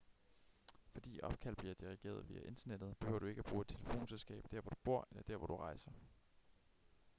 fordi opkald bliver dirigeret via internettet behøver du ikke at bruge et telefonselskab der hvor du bor eller der hvor du rejser